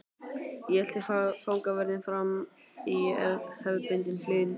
Ég elti fangavörðinn fram í hefðbundinni hlýðni.